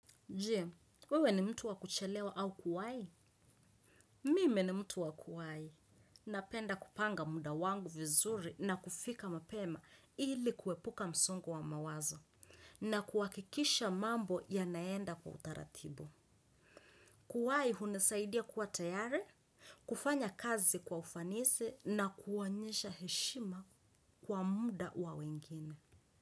Je, wewe ni mtu wakuchelewa au kuwai? Mimi ni mtu wakuwai. Napenda kupanga muda wangu vizuri na kufika mapema ili kuwepuka msongo wa mawazo. Na kuakikisha mambo yanaenda kwa utaratibu. Kuwai hunisaidia kuwa tayare, kufanya kazi kwa ufanisi na kuwanyisha heshima kwa muda wa wengine.